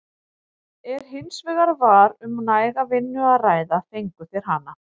Ef hins vegar var um næga vinnu að ræða fengu þeir hana.